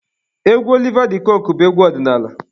Egwu Oliva de coque bụ egwu ọdịnaala.